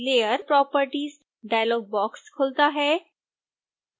layer properties dialogue box खुलता है